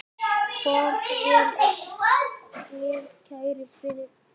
Far vel, kæri vinur.